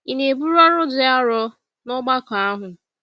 Ị na-eburu ọrụ dị arọ n’ọgbakọ ahụ?